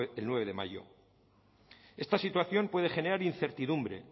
el nueve de mayo esta situación puede generar incertidumbre